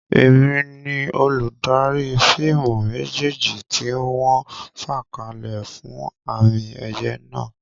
Èmi ni olùdarí fíìmù méjéèjì tí wọ́n fàkalẹ̀ fún àmì-ẹ̀yẹ náà.